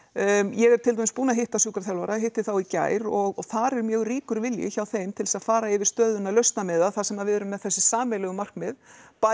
ég er til dæmis búin að hitta sjúkraþjálfara hitti þá í gær og þar er mjög ríkur vilji hjá þeim til þess að fara yfir stöðuna þar sem við erum með þessi sameiginlegu markmið bæði